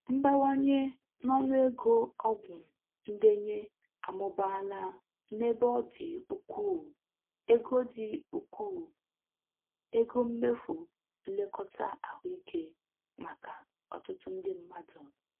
Mbawanye n'ọnụ ego ọgwụ ndenye amụbaala n'ebe ọ dị ukwuu ego dị ukwuu ego mmefụ nlekọta ahụike maka ọtụtụ ndị mmadụ.